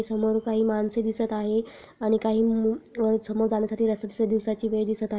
समोर काही माणसे दिसत आहेत आणि काही मू समोर चालण्या साठी रस्ता दिसत आहे दिवसाची वेळ दिसत --